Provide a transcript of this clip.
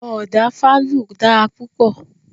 Ọ̀dà fálù dára púpọ̀.